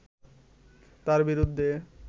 তাঁর বিরুদ্ধে